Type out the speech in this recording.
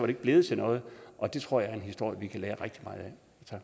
ikke blevet til noget og det tror jeg er en historie vi kan lære rigtig meget